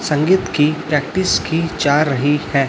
संगीत की प्रैक्टिस की जा रही है।